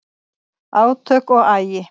Átök og agi